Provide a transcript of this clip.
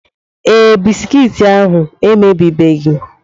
Ee, Bisikiiti ahu emebibeghị.